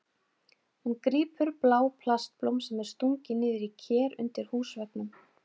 Hún grípur blá plastblóm sem er stungið niður í ker undir húsveggnum.